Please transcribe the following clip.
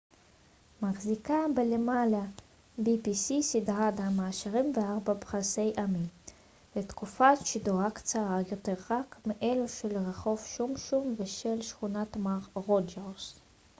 סדרת ה-pbs מחזיקה בלמעלה מעשרים וארבעה פרסי אמי ותקופת שידורה קצרה יותר רק מאלו של רחוב שומשום ושל שכונת מר רוג'רס